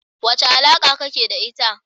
Wace alaka kake da ita?